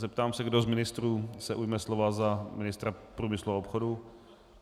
Zeptám se, kdo z ministrů se ujme slova za ministra průmyslu a obchodu.